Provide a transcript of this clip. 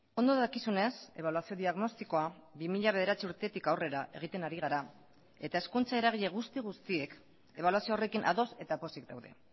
ondo dakizunez ebaluazio diagnostikoa bi mila bederatzi urtetik aurrera egiten ari gara eta hezkuntza eragile guzti guztiek ebaluazio horrekin ados eta pozik daude